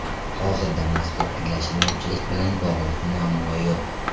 Hozirda mazkur anglashilmovchilik bilan bog‘liq muammo yo‘q.